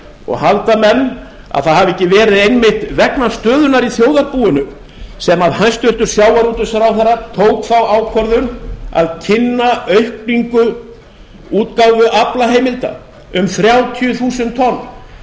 og halda menn að það hafi ekki verið einmitt vegna stöðunnar í þjóðarbúinu sem hæstvirtur sjávarútvegsráðherra tók þá ákvörðun að kynna aukningu útgáfu aflaheimilda um þrjátíu þúsund tonn